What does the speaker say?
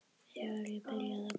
Þegar ég byrjaði að búa.